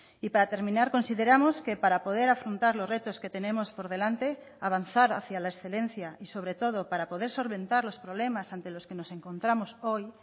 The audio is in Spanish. y para terminar consideramos que para poder afrontar los retos que tenemos por delante avanzar hacia la excelencia y sobre todo para poder solventar los problemas ante los que nos encontramos hoy